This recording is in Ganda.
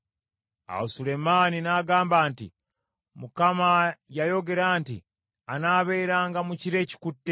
Awo Sulemaani n’agamba nti, “ Mukama yayogera nti anaabeeranga mu kire ekikutte.